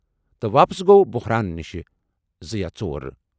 تہٕ واپس گوٚو بحران نِش زٕ یا ژور۔